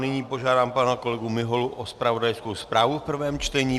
Nyní požádám pana kolegu Miholu o zpravodajskou zprávu v prvém čtení.